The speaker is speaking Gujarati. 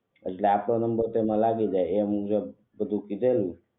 એટલે આપનો નમ્બર તેમાં લાગી જાય તેવું બધું કીધેલું